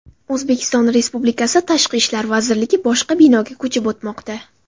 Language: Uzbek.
O‘zbekiston Respublikasi Tashqi ishlar vazirligi boshqa binoga ko‘chib o‘tmoqda.